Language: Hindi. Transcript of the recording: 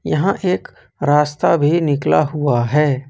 यहां एक रास्ता भी निकला हुआ है।